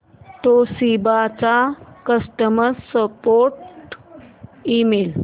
Toshiba चा customer support email